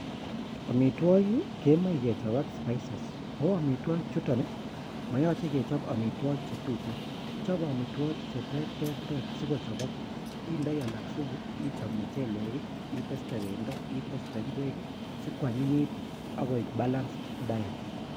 Amitwogiik kemoche kechob ak spices, ooh amitwogikchtuton I moyoche keyoob amitwogiik chetuten, nyolu kechob cheterter sikochobok. Indoi alak supu, ichob muchelek I iteste bendoo, iteste ingwek sikwanyinyit akoi balance diet.